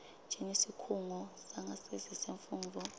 njengesikhungo sangasese semfundvo